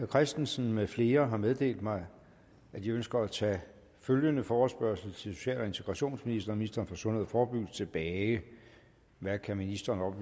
christensen med flere har meddelt mig at de ønsker at tage følgende forespørgsel til social og integrationsministeren og ministeren for sundhed og forebyggelse tilbage hvad kan ministeren